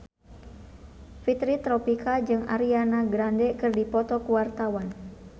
Fitri Tropika jeung Ariana Grande keur dipoto ku wartawan